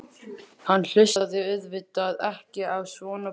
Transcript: Hann hlustaði auðvitað ekki á svona bull.